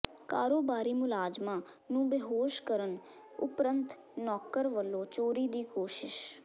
ਕਾਰੋਬਾਰੀ ਮੁਲਾਜ਼ਮਾਂ ਨੂੰ ਬੇਹੋਸ਼ ਕਰਨ ਉਪਰੰਤ ਨੌਕਰ ਵਲੋਂ ਚੋਰੀ ਦੀ ਕੋਸ਼ਿਸ